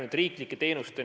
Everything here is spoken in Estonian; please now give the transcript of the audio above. Suur tänu küsimuse eest!